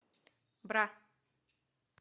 бра